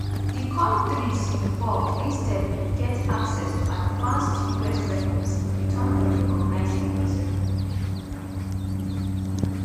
di kontris involved instead bin get access to advanced us weapons in return for recognising israel.